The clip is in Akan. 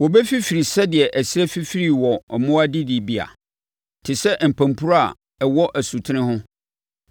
Wɔbɛfifiri sɛdeɛ ɛserɛ fifiri wɔ mmoa adidibea, te sɛ mpampuro a ɛwɔ asutene ho.